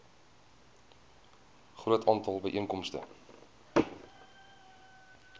groot aantal byeenkomste